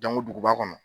duguba kɔnɔ